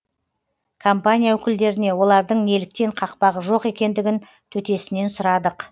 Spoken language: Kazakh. компания өкілдеріне олардың неліктен қақпағы жоқ екендігін төтесінен сұрадық